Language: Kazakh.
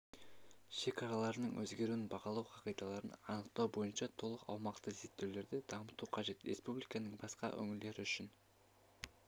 шекараларының өзгеруін бағалау қағидаларын анықтау бойынша толық ауқымды зерттеулерді дамыту қажет республиканың басқа өңірлері үшін